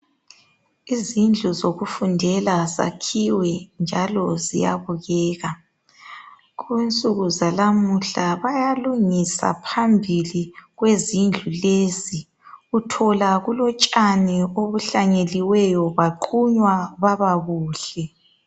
Izindlu zokufundela zakhiwe njalo ziyabukeka .Kunsuku zalamuhla bayalungisa phambili kwezindlu lezi .Uthola kulotshani obuhlanyeliweyo baqunywa kwaba kuhle .